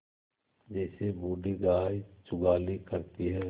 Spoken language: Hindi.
जैसे बूढ़ी गाय जुगाली करती है